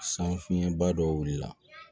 San fiɲɛba dɔ wulila